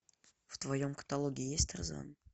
в твоем каталоге есть тарзан